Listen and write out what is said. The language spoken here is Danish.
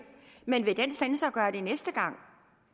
men vil den censor